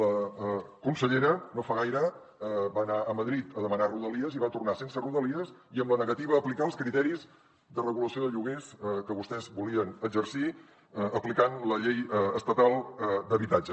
la consellera no fa gaire va anar a madrid a demanar rodalies i va tornar sense rodalies i amb la negativa a aplicar els criteris de regulació de lloguers que vostès volien exercir aplicant la llei estatal d’habitatge